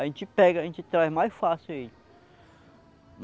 A gente pega, a gente traz mais fácil ele.